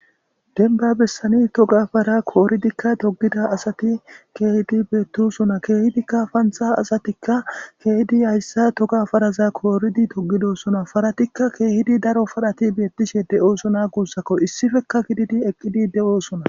Denba bessani toga fara kooridikka togida asati keehidi beettosona keehidikka pantha asatikka keehidi hayssa toga faraza kooridi togidosona faratikka keehidi daro farhati beettishe de'oosona gussako issifeka gididi eqqidi de'oosona.